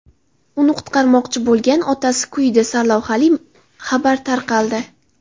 Uni qutqarmoqchi bo‘lgan otasi kuydi” sarlavhali xabar tarqaldi.